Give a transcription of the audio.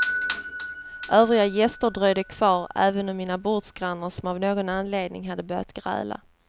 Övriga gäster dröjde kvar, även mina bordsgrannar som av någon anledning hade börjat gräla.